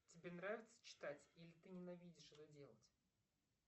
тебе нравится читать или ты ненавидишь это делать